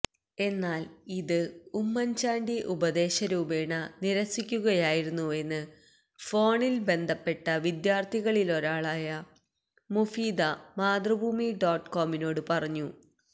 എന്നാൽ ഇത് ഉമ്മന് ചാണ്ടി ഉപദേശരൂപേണ നിരസിക്കുകയായിരുന്നുവെന്ന് ഫോണിൽ ബന്ധപ്പെട്ട വിദ്യാർത്ഥികളിലൊരാളായ മുഫീദ മാതൃഭൂമി ഡോട്ട് കോമിനോട് പറഞ്ഞു